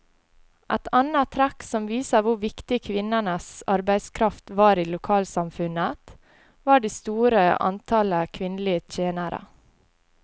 Et annet trekk som viser hvor viktig kvinnenes arbeidskraft var i lokalsamfunnet, var det store antallet kvinnelige tjenere.